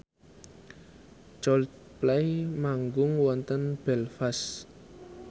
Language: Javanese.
Coldplay manggung wonten Belfast